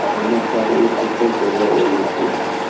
Ammo hozir u ko‘plab gollar urmoqda.